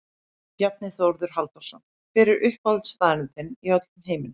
Bjarni Þórður Halldórsson Hver er uppáhaldsstaðurinn þinn í öllum heiminum?